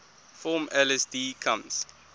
form lsd comes